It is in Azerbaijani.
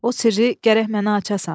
O sirri gərək mənə açasan.